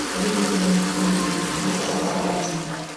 іле өзенінің ағындылығы екі үш есеге азайды